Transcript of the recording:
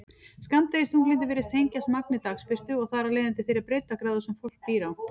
Skammdegisþunglyndi virðist tengjast magni dagsbirtu og þar af leiðandi þeirri breiddargráðu sem fólk býr á.